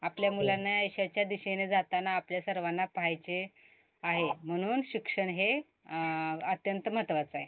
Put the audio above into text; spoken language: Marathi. आपल्या मुलांना यशाच्या दिशेने जातांना आपल्या सर्वांना पाहायचे आहे म्हणून शिक्षण हे अं अत्यंत महत्वाचं आहे.